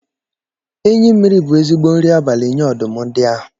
Enyị mimiri bụ ezigbo nri abalị nyé ọdụm ndia áhù